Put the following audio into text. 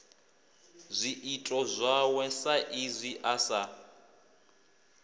zwiito zwawe saizwi a sa